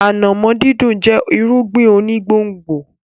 Ànàmọ́ dídùn jẹ́ irúgbìn onígbòǹgbò.